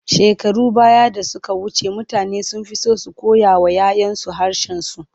Shekarun baya da suka wuce, mutane sun fi so su koyawa 'ya 'yansu harshensu.